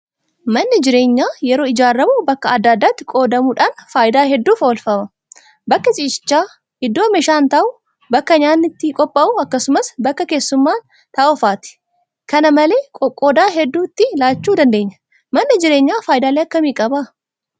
Manni jireenyaa yeroo ijaaramu bakka adda addaatti qoodamuudhaan faayidaa hedduuf oolfama. Bakka ciisichaa, iddoo meeshaan taa'u, bakka nyaanni itti qopha'u, akkasumas bakka keessummaan taa'u fa'aati. kana malee qoqqooddaa hedduu itti laachuu dandeenya. Manni jireenyaa faayidaalee akkamii qaba?